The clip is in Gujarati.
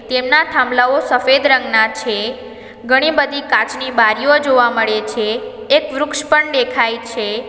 તેમના થાંભલાઓ સફેદ રંગના છે ઘણી બધી કાચની બારીઓ જોવા મળે છે એક વૃક્ષ પણ દેખાય છે.